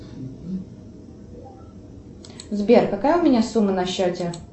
сбер какая у меня сумма на счете